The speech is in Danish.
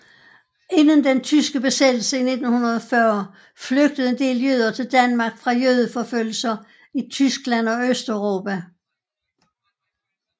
Inden den tyske besættelse i 1940 flygtede en del jøder til Danmark fra jødeforfølgelser i Tyskland og Østeuropa